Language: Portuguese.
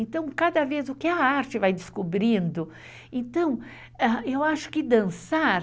Então, cada vez o que a arte vai descobrindo... Então, eu acho que dançar...